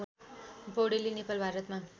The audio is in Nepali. पौडेलले नेपाल भारतमा